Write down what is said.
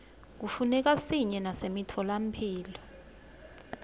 kufuneka siye nasemitfolamphilo